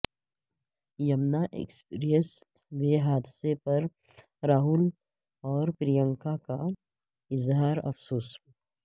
Yamuna expressway حادثے پر راہل اور پرینکا کا اظہارافسوس